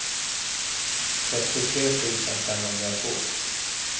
trettiotre tusen femhundratvå